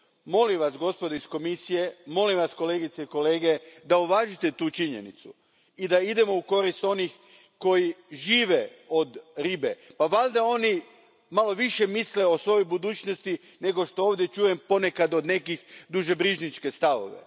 Molim vas, gospodo iz Komisije, molim vas, kolegice i kolege da uvažite tu činjenicu i da idemo u korist onih koji žive od ribe. Pa valjda oni malo više misle o svojoj budućnosti nego što ovdje čujem ponekad, od nekih, dušebrižničke stavove.